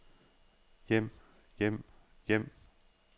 hjem hjem hjem